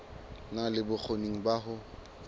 na le bokgoni ba ho